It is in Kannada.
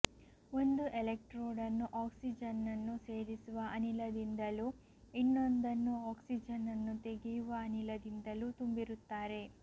ಒಂದು ಎಲೆಕ್ಟ್ರೋಡನ್ನು ಆಕ್ಸಿಜನ್ನನ್ನು ಸೇರಿಸುವ ಅನಿಲದಿಂದಲೂ ಇನ್ನೊಂದನ್ನು ಆಕ್ಸಿಜನ್ನನ್ನು ತೆಗೆಯುವ ಅನಿಲದಿಂದಲೂ ತುಂಬಿರುತ್ತಾರೆ